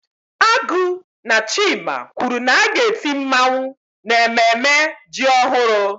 Agu na chima kwuru na a ga-eti mmawụ n'ememme ji ọhụrụ.